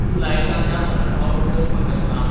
तूं लायता त्या आलार्मांबद्दल म्हाका सांग